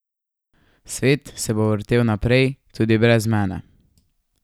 Svet se bo vrtel naprej, tudi brez mene.